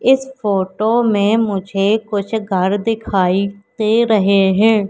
इस फोटो में मुझे कुछ घर दिखाई दे रहे हैं।